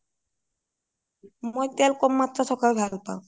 মই তেল কম মাত্ৰাত থকাত ভাল পাও